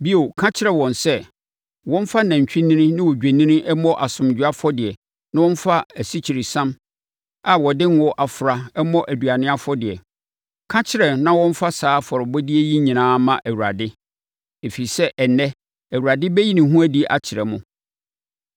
Bio, ka kyerɛ wɔn sɛ wɔmfa nantwinini ne odwennini mmɔ asomdwoeɛ afɔdeɛ na wɔmfa asikyiresiam a wɔde ngo afra mmɔ aduane afɔdeɛ. Ka kyerɛ ma wɔmfa saa afɔrebɔdeɛ yi nyinaa mma Awurade, ɛfiri sɛ ɛnnɛ, Awurade bɛyi ne ho adi akyerɛ mo.”